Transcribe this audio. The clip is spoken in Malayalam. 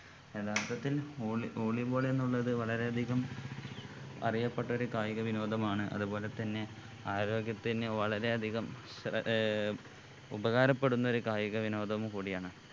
യഥാർത്ഥത്തിൽ volley volleyball എന്നുള്ളത് വളരെ അധികം അറിയപ്പെട്ട ഒരു കായിക വിനോദമാണ് അതുപോലെ തന്നെ ആരോഗ്യത്തിന് വളരെ അധികം ഏർ ഉപകാരപ്പെടുന്ന ഒരു കായിക വിനോദവും കൂടി ആണ്